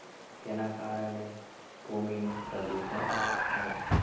તેના કારણે ભૂમિ નું પ્રદૂષણ થાય છે.